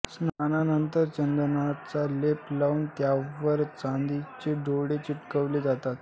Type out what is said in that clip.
स्नानानंतर चंदनाचा लेप लावून त्यावर चांदीचे डोळे चिटकविले जातात